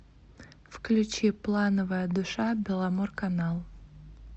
включи плановая душа беломорканал